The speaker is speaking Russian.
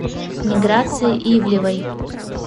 миграции ивлевой